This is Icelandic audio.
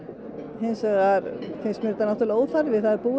hins vegar finnst mér þetta náttúrulega óþarfi það er búið